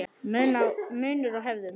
Munur á hefðum